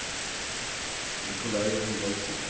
Nicolai Thorvaldsen